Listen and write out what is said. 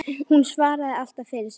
Hún svaraði alltaf fyrir sig.